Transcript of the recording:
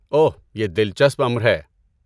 اوہ، یہ دلچسپ امر ہے۔